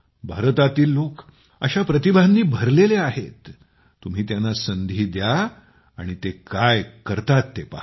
भारतातील लोक अशा प्रतिभांनी भरलेले आहेत तुम्ही त्यांना संधी द्या आणि ते काय करतात ते पहा